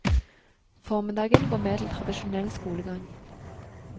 Formiddagen går med til tradisjonell skolegang.